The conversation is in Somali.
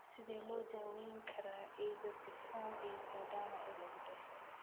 Sidee loo daweyn karaa ichthyosiform erythroderma ee lagu dhasho?